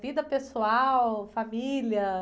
Vida pessoal, família?